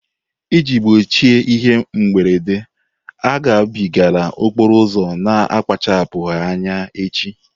Iji gbochie ihe mberede, agabigala okporo ụzọ na-akpachapụghị anya echi.